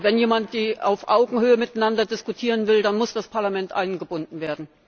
Und wenn jemand auf Augenhöhe miteinander diskutieren will, dann muss das Parlament eingebunden werden.